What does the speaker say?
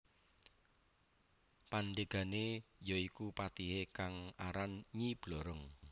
Pandegane ya iku patihe kang aran Nyi Blorong